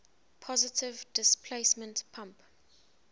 positive displacement pump